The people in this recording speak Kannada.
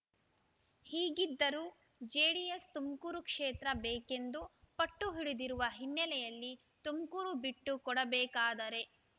ಹೀಗಿದ್ದರೂ ಜೆಡಿಎಸ್ ತುಮಕೂರು ಕ್ಷೇತ್ರ ಬೇಕೆಂದು ಪಟ್ಟುಹಿಡಿದಿರುವ ಹಿನ್ನೆಲೆಯಲ್ಲಿ ತುಮಕೂರು ಬಿಟ್ಟುಕೊಡಬೇಕಾದರೆ